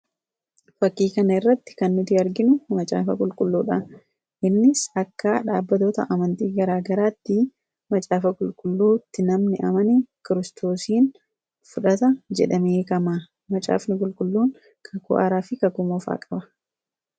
fakiikan irratti kan nuti arginu macaafa qulqulluudha innis akka dhaabatota amantii garaagaraatti macaafa qulqulluutti namni amani kiristoosiin fudhata jedhameekamaa macaafni qulqulluun kakuu'aaraa fi kakuumofaa qaba